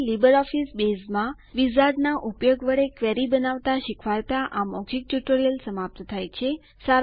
અહીં લીબરઓફીસ બેઝમાં વિઝાર્ડના ઉપયોગ વડે ક્વેરી બનાવવાનું શીખવાડતા આ મૌખિક ટ્યુટોરીયલ સમાપ્ત થાય છે